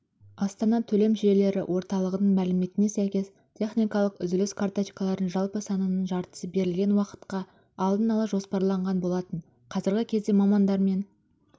астана төлем жүйелері орталығының мәліметіне сәйкес техникалық үзіліс карточкалардың жалпы санының жартысы берілген уақытқа алдын ала жоспарланған болатын қазіргі кезде мамандармен